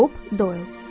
Bob Doyle.